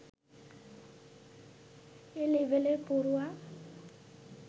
এ লেভেলে পড়ুয়া